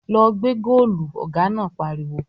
"Lọ gbẹ́ góòlù!" Ọ̀gá náà pariwo